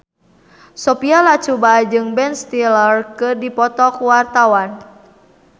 Sophia Latjuba jeung Ben Stiller keur dipoto ku wartawan